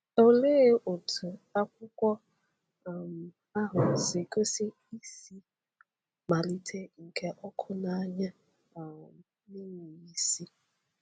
Olee otú akwụkwọ um ahụ si gosi isi mmalite nke ọkụ̣ n’anya um na-enweghị isi?